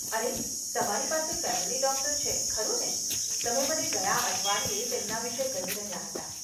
અરે, તમારી પાસે ફેમિલી ડોક્ટર છે, ખરું ને? તમે મને ગયા અઠવાડિયે તેમના વિશે કહી રહ્યા હતા.